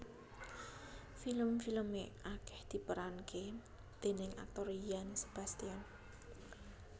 Film filme akeh diperanke déning aktor Yan Sebastian